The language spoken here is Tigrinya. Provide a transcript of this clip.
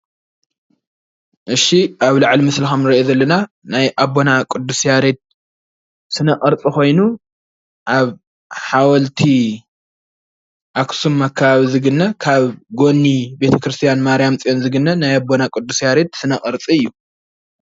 እሺ አብ ልዕሊ ምስሊ ከምንሪኦ ዘለና ናይ አቦና ቅዱስ ያሬድ ስነ ቅርፂ ኮይኑ አብ ሓወልቲ አክሱም አከባቢ ዝግነ ካብ ጎኒ ቤተ ክርስቲያን ማርያም ፅዮን ዝግነ ናይ አቦና ቅዱስ ያሬድ ስነ ቅርፂ እዩ።